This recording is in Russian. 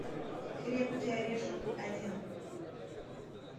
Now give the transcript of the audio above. крепкий орешек один